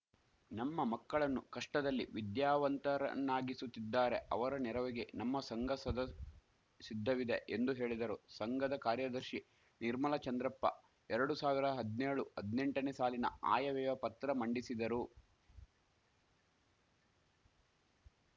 ನಮ್ಮ ಮಕ್ಕಳನ್ನು ಕಷ್ಟದಲ್ಲಿ ವಿದ್ಯಾವಂತವರನ್ನಾಗಿಸುತ್ತಿದ್ದಾರೆ ಅವರ ನೆರವಿಗೆ ನಮ್ಮ ಸಂಘ ಸದ ಸಿದ್ಧವಿದೆ ಎಂದು ಹೇಳಿದರು ಸಂಘದ ಕಾರ್ಯದರ್ಶಿ ನಿರ್ಮಲಾ ಚಂದ್ರಪ್ಪ ಎರಡು ಸಾವಿರ ಹದಿನೇಳು ಹದಿನೆಂಟನೇ ಸಾಲಿನ ಆಯವ್ಯಯ ಪತ್ರ ಮಂಡಿಸಿದರು